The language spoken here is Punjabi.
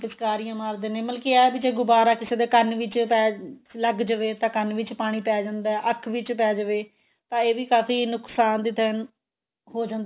ਪਿਚਕਾਰੀਆਂ ਮਾਰਦੇ ਨੇ ਮਤਲਬ ਕੀ ਇਹ ਏ ਵੀ ਜੇ ਗੁਬਾਰਾ ਕਿਸੇ ਦੇ ਕੰਨ ਵਿੱਚ ਲੱਗ ਜਾਵੇ ਤਾਂ ਕੰਨ ਵਿੱਚ ਪਾਣੀ ਪੈ ਜਾਂਦਾ ਅੱਖ ਵਿੱਚ ਪੈ ਜਾਵੇ ਤਾਂ ਇਹ ਵੀ ਕਾਫ਼ੀ ਨੁਕਸਾਨ ਦਿੰਦਾ ਹੋ ਜਾਂਦਾ